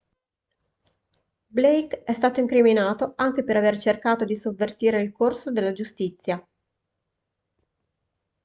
blake è stato incriminato anche per aver cercato di sovvertire il corso della giustizia